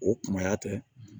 O kumaya tɛ